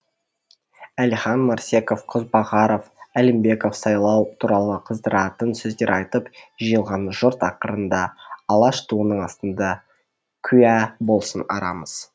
әлихан марсеков қозбағаров әлімбеков сайлау туралы қыздыратын сөздер айтып жиылған жұрт ақырында алаш туының астында куә болсын арамыз